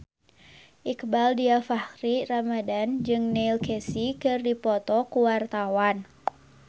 Iqbaal Dhiafakhri Ramadhan jeung Neil Casey keur dipoto ku wartawan